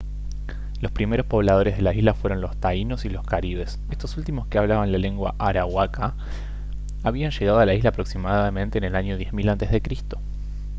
los primeros pobladores de la isla fueron los taínos y los caribes estos últimos que hablaban la lengua arahuaca habían llegado a la isla aproximadamente en el año 10 000 a c